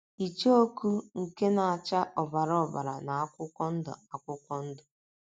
Icheoku nke na - acha ọbara ọbara na akwụkwọ ndụ akwụkwọ ndụ.